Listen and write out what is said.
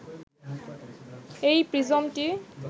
এই প্রিজমটি